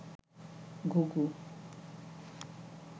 ঘুঘু